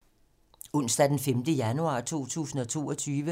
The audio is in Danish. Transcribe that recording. Onsdag d. 5. januar 2022